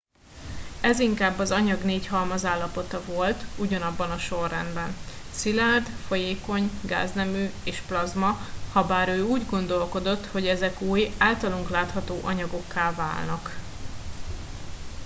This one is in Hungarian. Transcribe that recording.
ez inkább az anyag négy halmazállapota volt ugyanabban a sorrendben: szilárd folyékony gáznemű és plazma habár ő úgy gondolkodott hogy ezek új általunk látható anyagokká válnak